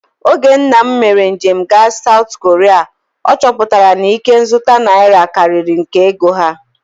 Oge nna m mere njem gaa Saụt Koria, ọ chọpụtara na ikenzụta naira karịrị nke ego ha